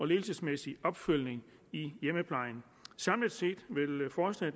ledelsesmæssige opfølgning i hjemmeplejen samlet set